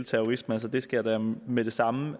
terrorisme det skal jeg da med det samme